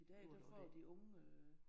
I dag der får de unge øh